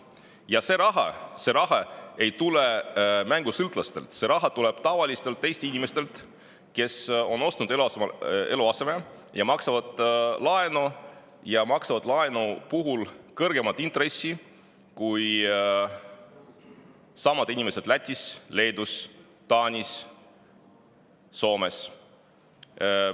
raha ei tule mängusõltlastelt, see raha tuleb tavalistelt Eesti inimestelt, kes on ostnud eluaseme, maksavad laenu tagasi ja maksavad ka kõrgemat laenuintressi kui sama inimesed Lätis, Leedus, Taanis või Soomes.